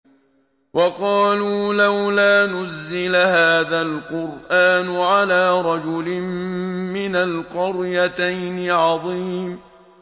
وَقَالُوا لَوْلَا نُزِّلَ هَٰذَا الْقُرْآنُ عَلَىٰ رَجُلٍ مِّنَ الْقَرْيَتَيْنِ عَظِيمٍ